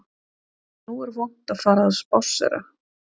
Nú er vont að fara að spásséra